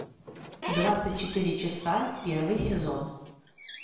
двадцать четыре часа первый сезон